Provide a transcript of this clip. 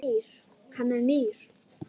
Hann er nýr.